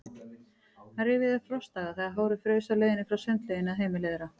Hann rifjaði upp frostdaga, þegar hárið fraus á leiðinni frá sundlauginni að heimili þeirra.